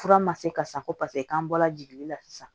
Fura ma se ka san ko paseke k'an bɔla jigili la sisan